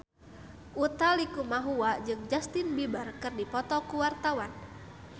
Utha Likumahua jeung Justin Beiber keur dipoto ku wartawan